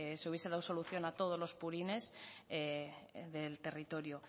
se hubiese dado solución a todos los purines del territorio